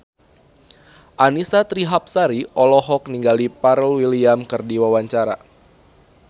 Annisa Trihapsari olohok ningali Pharrell Williams keur diwawancara